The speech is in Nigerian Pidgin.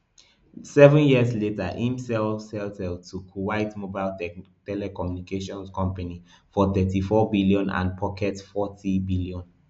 seven years later im sell celtel to kuwait mobile tel telecommunications company for thirty-four billion and pocket fourteen billion